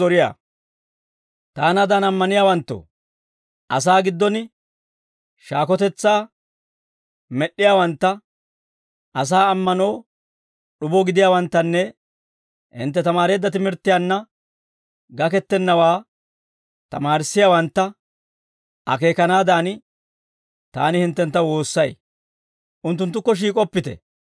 Taanaadan ammaniyaawanttoo, asaa giddon shaakotetsaa med'd'iyaawantta, asaa ammanoo d'ubo gidiyaawanttanne hintte tamaareedda timirttiyaanna gakettennawaa tamaarissiyaawantta akeekanaadan, taani hinttentta woossay. Unttunttukko shiik'oppite.